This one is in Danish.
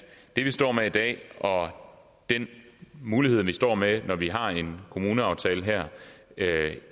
det vi står med i dag og den mulighed vi står med når vi har en kommuneaftale her